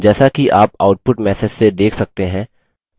जैसा कि आप output message से देख सकते हैं